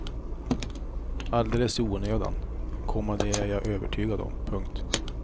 Alldeles i onödan, komma det är jag övertygad om. punkt